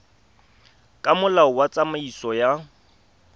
ka molao wa tsamaiso ya